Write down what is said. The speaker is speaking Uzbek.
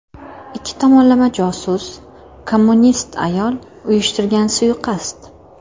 Ikki tomonlama josus, kommunist ayol uyushtirgan suiqasd.